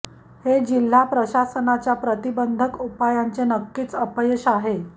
हे जिल्हा प्रशासनाच्या प्रतिबंधक उपायांचे नक्कीच अपयश आहे